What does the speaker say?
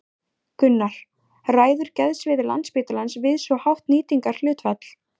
Gunnar: Ræður geðsvið Landspítalans við svo hátt nýtingarhlutfall?